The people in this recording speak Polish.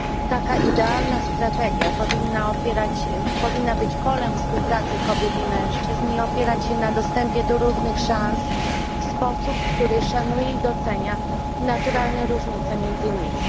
Taka idealna strategia powinna być polem współpracy kobiet i mężczyzn i opierać się na dostępie do równych szans w sposób, który szanuje i docenia naturalne różnice między nimi.